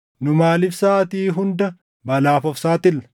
Nu maaliif saʼaatii hunda balaaf of saaxilla?